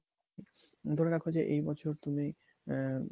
ধরে রাখো যে এই বছর তুমি আ~